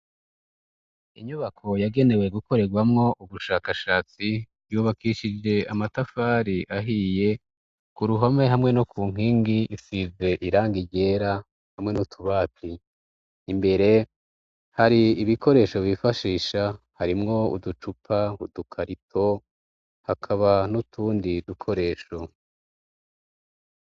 Inyubako yagenewe gukorerwamwo ubushakashatsi yubakishije amatafari ahiye, ku ruhome hamwe no ku nkingi isize irangi ryera hamwe n'utubati, imbere hari ibikoresho bifashisha harimwo uducupa, udukarito, hakaba n'utundi dukoresho.